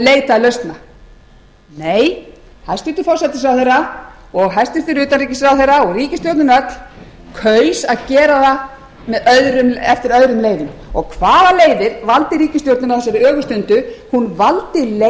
leitað lausna nei hæstvirtur forsætisráðherra hæstvirtur utanríkisráðherra og ríkisstjórnin öll kaus að gera það eftir öðrum leiðum hvaða leiðir valdi ríkisstjórnin á þessari ögurstundu hún valdi